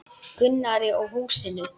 Gunnari og húsinu.